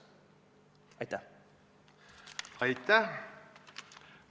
Aitäh!